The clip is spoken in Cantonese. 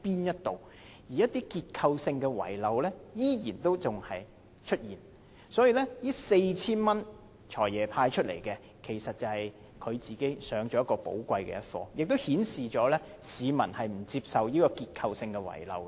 因此，市民對"財爺"宣布向合資格人士派發每人 4,000 元的反應，其實倒是讓他自己上了寶貴的一課，亦顯示市民不接受這個結構性遺漏。